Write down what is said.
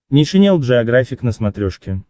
нейшенел джеографик на смотрешке